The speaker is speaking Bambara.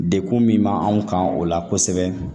Degun min b'anw kan o la kosɛbɛ